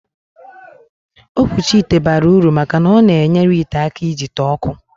Okwuchi ite bara uru maka na ọ na-enyere ite aka ijite ọkụ